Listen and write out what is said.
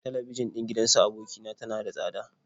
Talabijin ɗin gidan su aboki na tana da tsada.